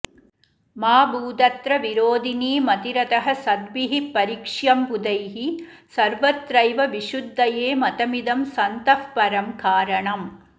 मा भूदत्र विरोधिनी मतिरतः सद्भिः परीक्ष्यं बुधैः सर्वत्रैव विशुद्धये मतमिदं सन्तः परं कारणम्